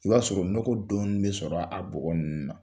I b'a sɔrɔ nɔgɔ dɔɔnin bɛ sɔrɔ a bɔgɔ ninnu na.